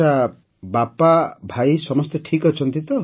ଆଜ୍ଞା ବାପା ଭାଇ ସମସ୍ତେ ଠିକ୍ ଅଛନ୍ତି